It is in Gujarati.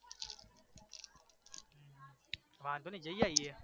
વાંધો નઈ જઈ આઈએ